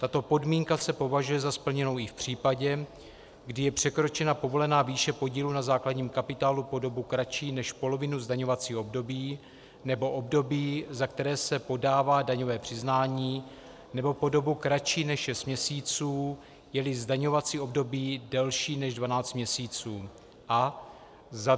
tato podmínka se považuje za splněnou i v případě, kdy je překročena povolená výše podílu na základním kapitálu po dobu kratší než polovinu zdaňovacího období nebo období, za které se podává daňové přiznání, nebo po dobu kratší než 6 měsíců, je-li zdaňovací období delší než 12 měsíců, a